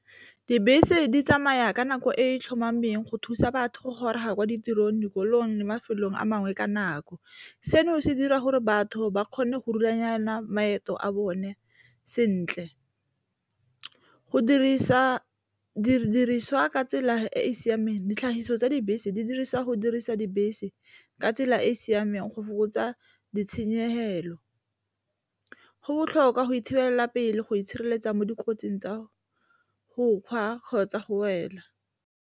Dibese di tsamaya ka nako e e tlhomameng go thusa batho go goroga kwa ditirong, dikolong, mafelong a mangwe ka nako. Seno se dira gore batho ba kgone go rulaganya maeto a bone sentle, go dirisa didiriswa ka tsela e e siameng ditlhagiso tsa dibese di dirisiwa go dirisa dibese ka tsela e e siameng go fokotsa ditshenyegelo, go botlhokwa go thibela pele go itshireletsa mo dikotsing tsa go kgwa kgotsa go wela.